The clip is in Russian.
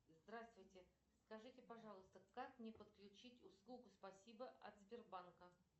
здравствуйте скажите пожалуйста как мне подключить услугу спасибо от сбербанка